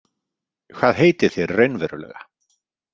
Hvað heitið þér raunverulega?